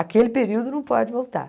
Aquele período não pode voltar.